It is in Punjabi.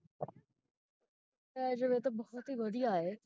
ਪੈ ਜਾਵੇ ਤੇ ਬਹੁਤ ਹੀ ਵਧੀਆ ਹੈ